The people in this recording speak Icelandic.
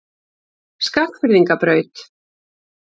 Skagfirðingabraut